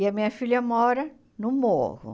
E a minha filha mora no morro.